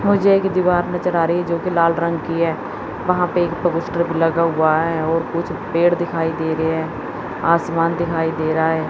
मुझे एक दीवार नजर आ रही है जोकि लाला रंग की है वहां पर लगा हुआ है और कुछ पेड़ दिखाई दे रहे हैं आसमान दिखाई दे रहा है।